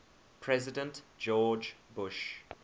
president george bush